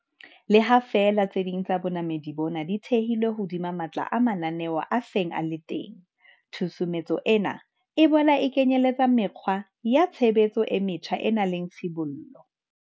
Le ha feela tse ding tsa bonamodi bona di thehilwe hodima matla a mananeo a seng a le teng, tshusumetso ena e boela e kenyeletsa mekgwa ya tshebetso e metjha e nang le tshibollo.